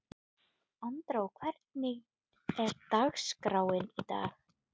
Andrá, hvernig er dagskráin í dag?